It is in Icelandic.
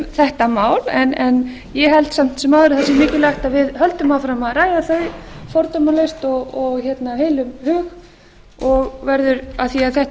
þetta mál en ég held samt sem áður að það sé mikilvægt að höldum áfram að ræða þau fordómalaust og af heilum hug af því að þetta